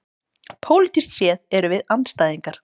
Pólitískt séð erum við andstæðingar